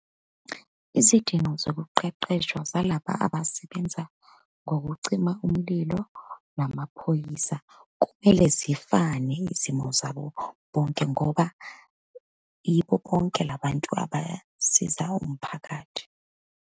Izidingo zokuqeqeshwa zalaba abasebenza ngokucima umlilo namaphoyisa, kumele zifane izimo zabo bonke, ngoba yibo bonke labantu abasiza umphakathi.